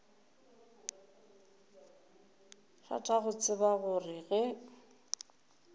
rata go tseba gore ge